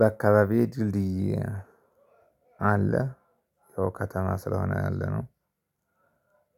በአካባቢው ድልድይ አለ። ያው ከተማ ስለሆነ ያለነው